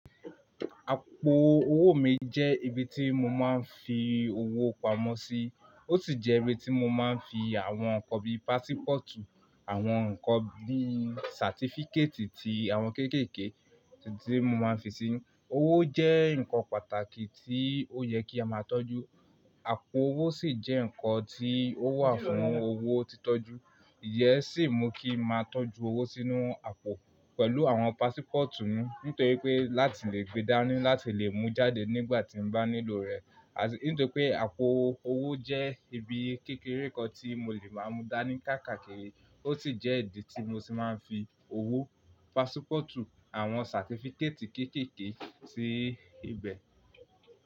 Àpò owó mi jẹ́ ibi tí mo máa ń fi owó pamọ́ sí, ó sì jẹ́ ibi tí mo máa ń fi àwọn nǹkan bí i pásípọ̀tù, àwọn nǹkan bí i sàtífíkétì ti àwọn kéékèèké tí mo máa ń fi sínú. Owó jẹ́ nǹkan pàtàkì tí ó yẹ kí a máa tọ́jú, àpò owó sì jẹ́ nǹkan tí ó wà fún owó títọ́jú. Ìyẹ́n sì mú kí n máa tọ́jú owó sínú àpò pẹ̀lú àwọn pásípọ̀tù nítorí pé láti lè gbe dání láti lè mú jáde nígbà tí mo bá nílò rẹ̀. Nítorí pé àpò owó jẹ́ ibi kékeré kan tí mo lè máa mú dání káàkiri, ó sì jẹ́ ibi tí mo sì máa ń fi owó, pásípọ̀tù àwọn sàtífíkétì kéékèèké sí ibẹ̀.